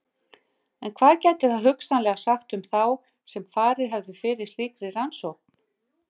En hvað gæti það hugsanlega sagt um þá sem farið hefðu fyrir slíkri rannsókn?